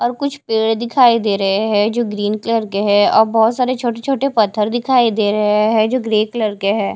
और कुछ पेड़ दिखाई दे रहे हैं जो ग्रीन कलर के हैं और बहुत सारे छोटे छोटे पत्थर दिखाई दे रहे हैं जो ग्रे कलर के हैं।